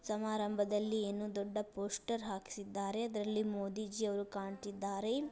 ಸಮಾರಂಭದಲ್ಲಿ ಏನೋ ದೊಡ್ಡ ಪೋಸ್ಟರ್ ಹಾಕ್ಸಿದರೆ ಅದ್ರಲ್ಲಿ ಮೋದಿಜಿ ಅವರು ಕಾಣ್ತಿದ್ದಾರೆ.